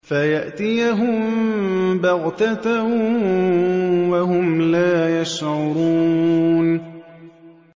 فَيَأْتِيَهُم بَغْتَةً وَهُمْ لَا يَشْعُرُونَ